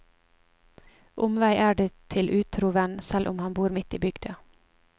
Omvei er det til utro venn, selv om han bor midt i bygda.